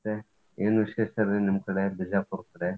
ಮತ್ತೆ ಏನ್ ವಿಶೇಷಾ ರೀ ನಿಮ್ಮ್ ಕಡೆ ಬಿಜಾಪುರ್ ಕಡೆ?